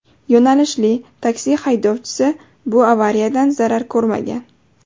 Yo‘nalishli taksi haydovchisi bu avariyadan zarar ko‘rmagan.